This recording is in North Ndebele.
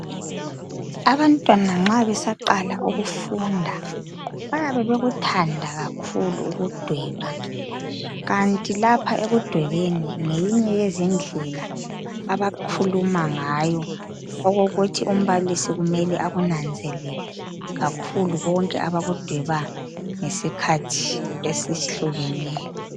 Abantwana nxa besaqala ukufunda bayabe bekuthanda kakhulu ukudweba kanti lapha ekudwebeni ngeyinye yezindlela abakhuluma ngayo ukokuthi umbalilsi kumele akunanzelele kakhulu konke abakudweba ngesikhathi esihlukeneyo.